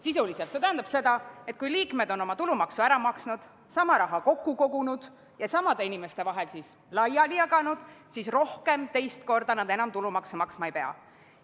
Sisuliselt tähendab see seda, et kui liikmed on oma tulumaksu ära maksnud, sama raha kokku kogunud ja samade inimeste vahel laiali jaganud, siis rohkem, teist korda nad enam tulumaksu maksma ei pea.